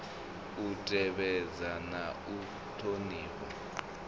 u tevhedza na u thonifha